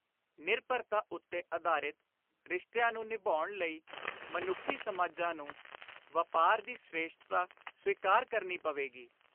ਨਿਰਭਰਤਾ ਉੱਤੇ ਆਧਾਰਿਤ ਰਿਸ਼ਤਿਆਂ ਨੂੰ ਨਿਭਾਉਣ ਲਈ ਮਨੁੱਖੀ ਸਮਾਜਾਂ ਨੂੰ ਵਾਪਾਰ ਦੀ ਸ੍ਰੇਸ਼ਟਤਾ ਸਵੀਕਾਰ ਕਰਨੀ ਪਵੇਗੀ।